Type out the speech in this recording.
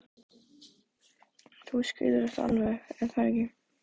Þú skilur þetta alveg, er það ekki?